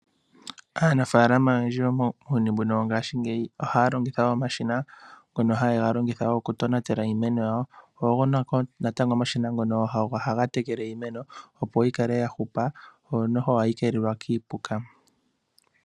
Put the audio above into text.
Aanafaalama oyendji muuyuni mbuno wo ngaashingeyi ohaya longitha omashina ngono haye ga longitha oku tonatela iimeno yawo. Ogo wo natango omashina ngono ohaga tekele iimeno, opo yi kale ya hupa, yo noho ohayi keelelwa kiipuka.